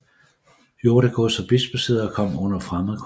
Jordegods og bispesæder kom under fremmed kontrol